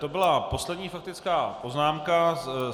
To byla poslední faktická poznámka.